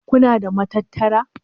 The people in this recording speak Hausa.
Kuna da matattara?